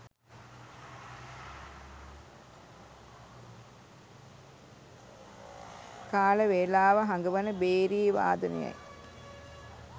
කාලවේලාව හඟවන භේරී වාදනයයි.